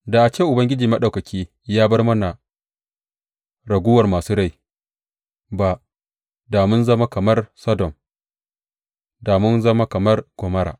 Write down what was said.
Da ba a ce Ubangiji Maɗaukaki ya bar mana raguwar masu rai ba, da mun zama kamar Sodom, da mun zama kamar Gomorra.